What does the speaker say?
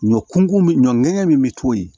Ɲɔ kun mi ɲɔ ŋɛɲɛ min bɛ to yen